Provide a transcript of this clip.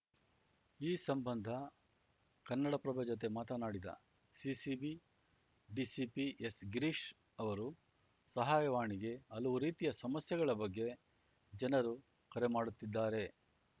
ಈ ಸಂಬಂಧ ಕನ್ನಡಪ್ರಭ ಜತೆ ಮಾತನಾಡಿದ ಸಿಸಿಬಿ ಡಿಸಿಪಿ ಎಸ್‌ಗಿರೀಶ್‌ ಅವರು ಸಹಾಯವಾಣಿಗೆ ಹಲವು ರೀತಿಯ ಸಮಸ್ಯೆಗಳ ಬಗ್ಗೆ ಜನರು ಕರೆ ಮಾಡುತ್ತಿದ್ದಾರೆ